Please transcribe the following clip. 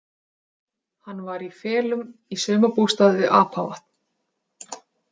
Hann var í felum í sumarbústað við Apavatn.